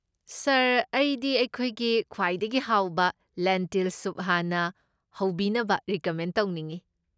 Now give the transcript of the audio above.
ꯁꯥꯔ, ꯑꯩꯗꯤ ꯑꯩꯈꯣꯏꯒꯤ ꯈ꯭ꯋꯥꯏꯗꯒꯤ ꯍꯥꯎꯕ ꯂꯦꯟꯇꯤꯜ ꯁꯨꯞ ꯍꯥꯟꯅ ꯍꯧꯕꯤꯅꯕ ꯔꯤꯀꯃꯦꯟ ꯇꯧꯅꯤꯡꯢ꯫